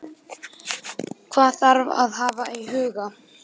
Hvað þarf að hafa í huga?